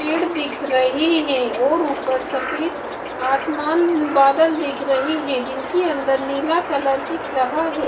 पेड़ दिख रहे हैं और ऊपर सफ़ेद आसमान बादल दिख रहे हैं जिनके अंदर नीला कलर दिख रहा है।